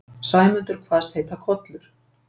Sæmundur kvaðst heita Kollur.